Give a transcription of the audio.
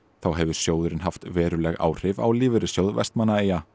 hefur sjóðurinn haft veruleg áhrif á Lífeyrissjóð Vestmannaeyja